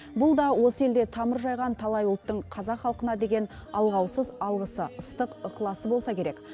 бұл да осы елде тамыр жайған талай ұлттың қазақ халқына деген алғаусыз алғысы ыстық ықыласы болса керек